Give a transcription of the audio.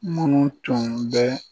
Munnu tun bɛ